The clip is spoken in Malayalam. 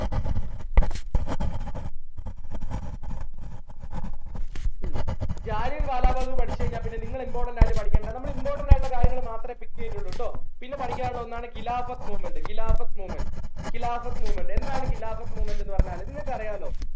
ഉം ജാലിയൻ വാല ബാഗ് പഠിച്ച കഴിഞ്ഞ പിന്നെ നിങ്ങൾ important ആയിട്ട് പഠിക്കേണ്ട നമ്മൾ important ആയിട്ട് ഉള്ള കാര്യങ്ങൾ മാത്രേ pick ചെയ്യുന്നുള്ളു ട്ടോ പിന്നെ പഠിക്കാൻ ഉള്ള ഒന്നാണ് of movement of movement of movement എന്താണ് of movement ന്നു പറഞ്ഞാൽ നിങ്ങൾക്ക് അറിയാലോ